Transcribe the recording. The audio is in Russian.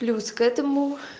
плюс к этому